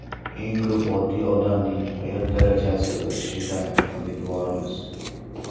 Eng ko‘p oddiy odamning hayot darajasi o‘sishidan umidvormiz.